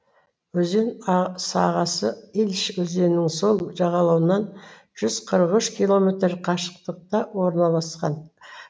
өзен сағасы илыч өзенінің сол жағалауынан жүз қырық үш километр қашықтықта орналасқан